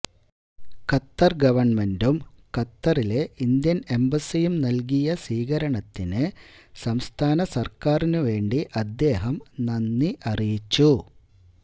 Qatar ഗവർമെന്റും ഖത്തറിലെ Indian എംബസിയും നൽകിയ സ്വീകരണത്തിനു സംസ്ഥാന സർക്കാരിനു വേണ്ടി അദ്ദേഹം നന്ദി അറിയിച്ചു